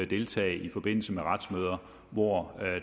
deltage i forbindelse med retsmøder hvor